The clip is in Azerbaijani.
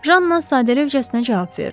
Janna sadəlövhcəsinə cavab verdi.